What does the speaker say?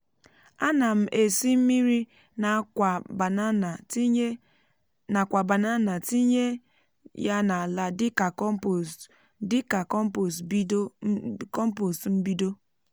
ana m esi mmiri n’akwa banana tinye ya n’ala dịka kọmpost dịka kọmpost mbido.